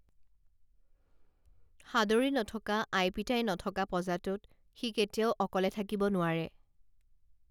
সাদৰী নথকা আই পিতাই নথকা পঁজাটোত সি কেতিয়াও অকলে থাকিব নোৱাৰে